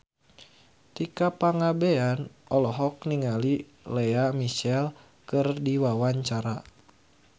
Tika Pangabean olohok ningali Lea Michele keur diwawancara